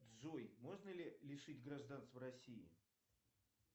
джой можно ли лишить гражданства россии